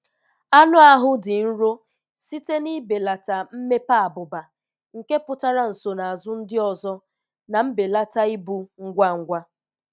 Anụ ahụ dị nro site n'ibelata mmepe abụba, nke pụtara nsonaazụ ndị ọzọ na mbelata ibu ngwa ngwa;